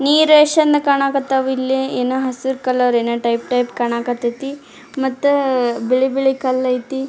ನೀರೇಶ್ಚಂದ ಕಾಣಕತ್ತವ್ ಇಲ್ಲಿ ಏನ್ ಹಸ್ರ್ ಕಲರ್ ಏನ್ ಟೈಪ್ ಟೈಪ್ ಕಾಣಕತ್ತತಿ ಮತ್ತಾ ಬಿಳಿ ಬಿಳಿ ಕಲ್ಲ್ ಆಯ್ತಿ .